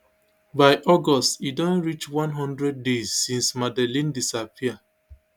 by august e don reach one hundred days since madeleine disappear